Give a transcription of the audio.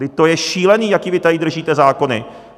Vždyť to je šílené, jaké vy tady držíte zákony.